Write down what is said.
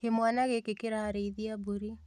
Kĩmwana gĩkĩ kĩrarĩithia mbũri